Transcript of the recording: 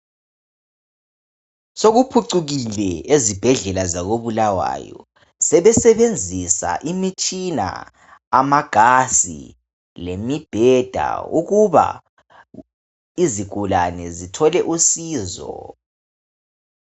Sokuphucukile ezibhedlela zakoBulawayo sekusetshenziswa imitshina lemibheda lamagazi ukuba izigulane zithole usizo.